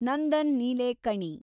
Nandan Nilekani